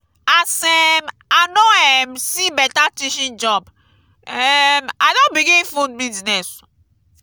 as um i no um see beta teaching job um i don begin food business.